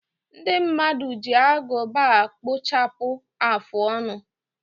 Ndị mmadụ ji agụba a kpụchapụ afụ ọnụ.